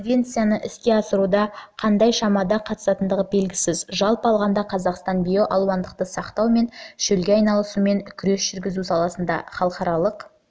конвенцияны іске асыруда қандай шамада қатысатындығы белгісіз жалпы алғанда қазақстан биоалуандылықты сақтау мен шөлге айналумен күрес жүргізу саласындағы халықаралық